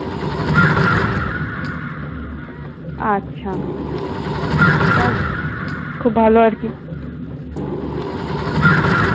আচ্ছা। যাক খুব ভালো আর কি।